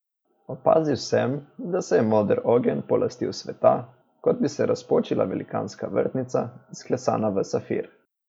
Opazil sem, da se je moder ogenj polastil sveta, kot bi se razpočila velikanska vrtnica, izklesana v safir.